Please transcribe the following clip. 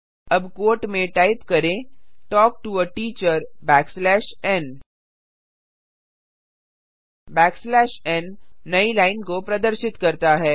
अब क्वोट में टाइप करें talk to a teacher backslash n n नई लाइन को प्रदर्शित करता है